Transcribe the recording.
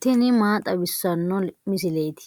tini maa xawissanno misileeti ?